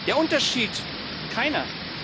Der Unterschied keiner!